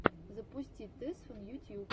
запусти тесфан ютьюб